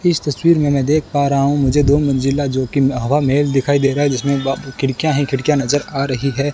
इस तस्वीर में मैं देख पा रहा हूं मुझे दो मंजिला जो कि हवा महल दिखाई दे रहा है जिसमें खिड़कियां ही खिड़कियां नजर आ रही है।